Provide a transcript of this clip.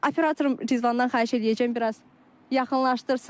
Operatorum Rizvandan xahiş eləyəcəm biraz yaxınlaşdırsın.